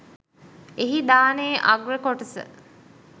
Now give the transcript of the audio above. එහි දානයේ අග්‍ර කොටස